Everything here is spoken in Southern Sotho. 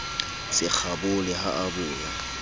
se kgabole ha a boya